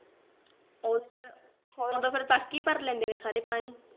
ਹੋਰ ਉਦੋਂ ਤੱਕ ਤਾ ਸਾਰੇ ਪਾਣੀ